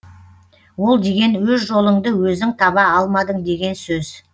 ол деген өз жолыңды өзің таба алмадың деген сөз